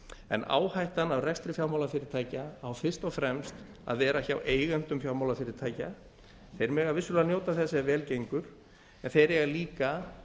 en áhættan af rekstri fjármálafyrirtækja á fyrst og fremst að vera hjá eigendum fjármálafyrirtækja þeir mega vissulega njóta þess ef vel gengur en þeir eiga líka